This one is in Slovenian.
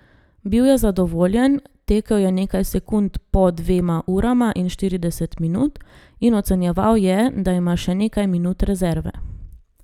Bil je zadovoljen, tekel je nekaj sekund po dvema urama in štirideset minut, in ocenjeval je, da ima še nekaj minut rezerve.